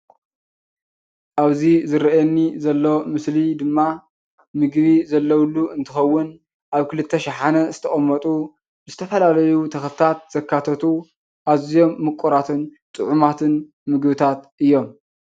አብዚ ዝረእየኒ ዘሎ ምስሊ ድማ ምግቢ ዘለውሉ እንተከውን አብ ክልተ ሻሓነ ዝተቀመጡ ዝተፈላለዩ ተክልታት ዘካተቱ አዚዮም ሙቁራት ጥዑማትን ምግብታት እዮም፡፡